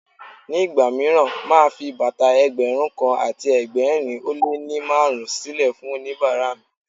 Ní ìgbà mìíràn, màá a fi bàtà Ẹgbẹ̀rún kan àti ẹgbẹ̀rin ó lé ní márùn-ún sílè fún oníbàárà mi.